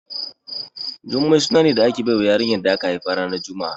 Jummai suna ne da ake bawa yarinya da aka haifa ranar juma'a